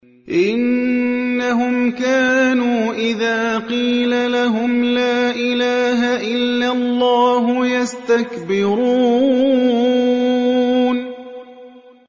إِنَّهُمْ كَانُوا إِذَا قِيلَ لَهُمْ لَا إِلَٰهَ إِلَّا اللَّهُ يَسْتَكْبِرُونَ